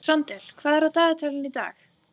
Sandel, hvað er í dagatalinu í dag?